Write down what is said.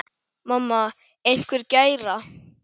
Mamma einhver gæra?